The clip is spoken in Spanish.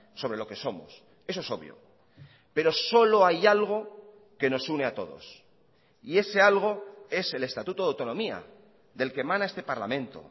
sobre lo que somos eso es obvio pero solo hay algo que nos une a todos y ese algo es el estatuto de autonomía del que emana este parlamento